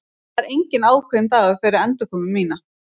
Það er enginn ákveðinn dagur fyrir endurkomu mína.